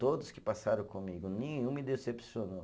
Todos que passaram comigo, nenhum me decepcionou.